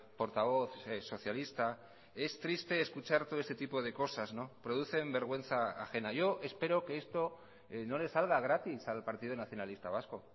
portavoz socialista es triste escuchar todo este tipo de cosas producen vergüenza ajena yo espero que esto no le salga gratis al partido nacionalista vasco